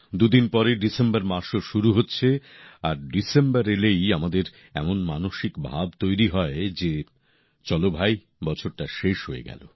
দু দিন পরে ডিসেম্বর মাসও শুরু হচ্ছে আর ডিসেম্বর এলেই আমাদের এমন মানসিক ভাব তৈরি হয় যে চলো ভাই বছরটা শেষ হয়ে গেল